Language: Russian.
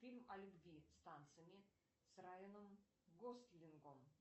фильм о любви с танцами с райаном гослингом